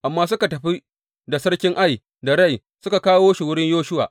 Amma suka tafi da sarkin Ai da rai suka kawo shi wurin Yoshuwa.